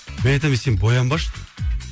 мен айтамын сен боянбашы